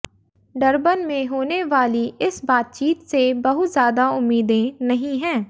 Durban में होने वाली इस बातचीत से बहुत ज्यादा उम्मीदें नहीं हैं